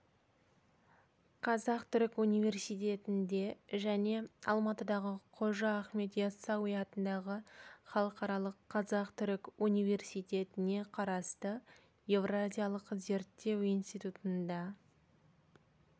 қазақ-түрік университетінде және алматыдағы қожа ахмет ясауи атындағы халықаралық қазақ-түрік университетіне қарасты еуразиялық зерттеу институтында